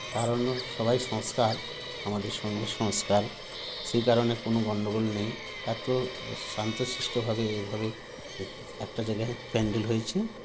কারণ সবাই সংস্কার আমাদের সঙ্গে সংস্কার সেই কারণে কোনো গন্ডগোল নেই এত শান্তশিষ্ট ভাবে এভাবে এক একটা জায়গায় pandal হয়েছে